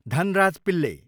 Dhanraj Pillay